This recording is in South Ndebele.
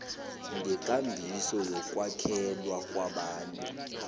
ngekambiso yokwakhelwa kwabantu